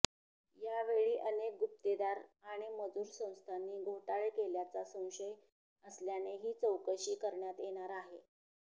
यावेळी अनेक गुत्तेदार आणि मजूर संस्थांनी घोटाळे केल्याचा संशय असल्याने ही चौकशी करण्यात येणार आहे